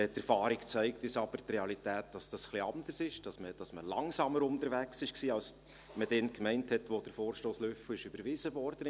Die Erfahrung zeigt uns aber, dass es in der Realität ein bisschen anders ist, dass man langsamer unterwegs war, als man damals meinte, als der Vorstoss Löffel 2018 überwiesen wurde.